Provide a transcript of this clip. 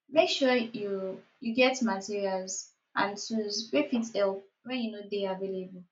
make sure you you get materials and tools wey fit help when you no de available